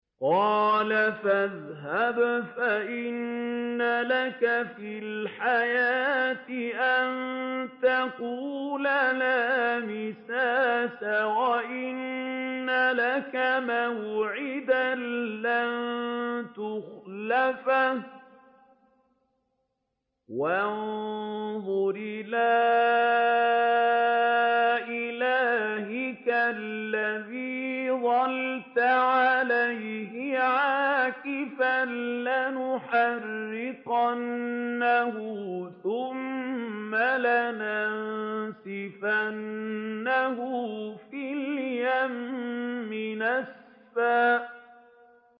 قَالَ فَاذْهَبْ فَإِنَّ لَكَ فِي الْحَيَاةِ أَن تَقُولَ لَا مِسَاسَ ۖ وَإِنَّ لَكَ مَوْعِدًا لَّن تُخْلَفَهُ ۖ وَانظُرْ إِلَىٰ إِلَٰهِكَ الَّذِي ظَلْتَ عَلَيْهِ عَاكِفًا ۖ لَّنُحَرِّقَنَّهُ ثُمَّ لَنَنسِفَنَّهُ فِي الْيَمِّ نَسْفًا